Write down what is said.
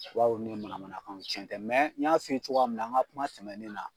Baw ni ye manamanakanw tiɲɛ tɛ n y'a f'i ye cogoya min na n ŋa kuma sɛmɛnen na